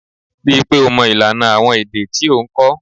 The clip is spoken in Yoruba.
Ri i pe o mo ilana awon ede ti o n ko.